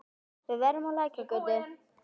Við erum á Lækjargötu.